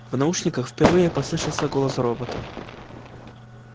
в наушниках впервые послышался голос робота